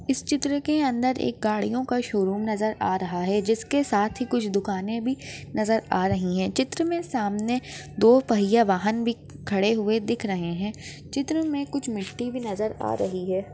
इस चित्र के अंदर एक गाड़ियों का शोरूम नजर आ रहा है जिसके साथ ही कुछ दुकाने भी नजर आ रही है चित्र मे सामने दो पहिया वाहन भी खड़े हुए दिख रहे है चित्र मे कुछ मिट्टी भी नजर आ रही है।